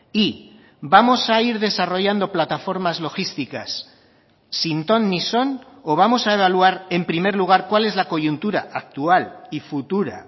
y vamos a ir desarrollando plataformas logísticas sin ton ni son o vamos a evaluar en primer lugar cuál es la coyuntura actual y futura